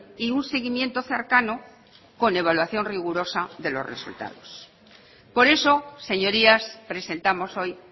y un seguimiento cercano con evaluación rigurosa de los resultados por eso señorías presentamos hoy